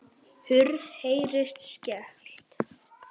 Hurð heyrist skellt.